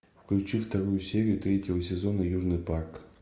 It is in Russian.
включи вторую серию третьего сезона южный парк